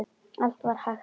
Allt var hægt að laga.